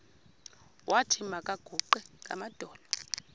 wathi makaguqe ngamadolo